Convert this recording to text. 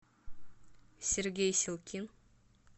сергей силкин